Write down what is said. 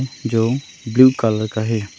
जो blue colour का है।